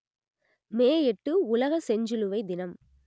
மே எட்டு உலக செஞ்சிலுவை தினம்